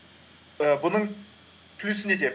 ііі бұның плюсы неде